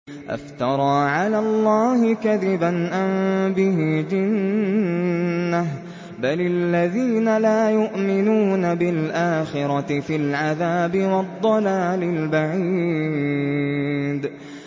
أَفْتَرَىٰ عَلَى اللَّهِ كَذِبًا أَم بِهِ جِنَّةٌ ۗ بَلِ الَّذِينَ لَا يُؤْمِنُونَ بِالْآخِرَةِ فِي الْعَذَابِ وَالضَّلَالِ الْبَعِيدِ